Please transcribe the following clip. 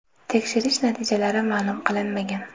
Tekshirish natijalari ma’lum qilinmagan.